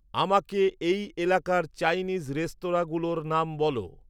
আমাকে এই এলাকার চাইনিজ রেস্তরাঁঁগুলোর নাম বলো